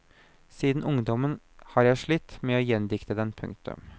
Siden ungdommen har jeg slitt med å gjendikte dem. punktum